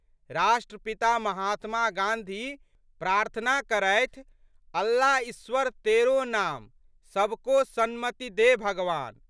राष्ट्रपिता महात्मा गाँधी प्रार्थना करथि, अल्लाईश्वर तेरो नाम, सबको सन्मति दे भगवान।